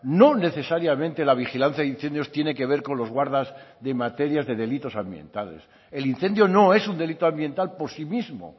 no necesariamente la vigilancia de incendios tiene que ver con los guardas de materias de delitos ambientales el incendio no es un delito ambiental por sí mismo